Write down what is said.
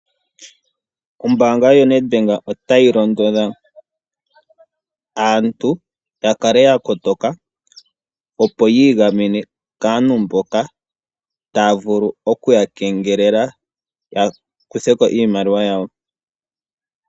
Ombaanga yo Ned Bank itayi londodha aantu ya kale ya kotoka, opo yii gamene kaantu mboka taya vulu oku ya kengelela, ya kutheko iimaliwa yawo.